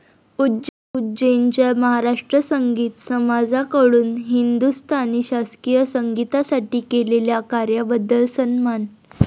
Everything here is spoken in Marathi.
उज्जैनच्या महाराष्ट्र संगीत समाजा कडून हिदुस्तानी शास्त्रीय संगीतासाठी केलेल्या कार्याबद्दल सन्मान.